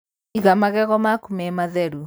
Iga magego maku me matheru.